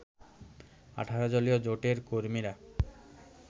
১৮ দলীয় জোটের কর্মীরা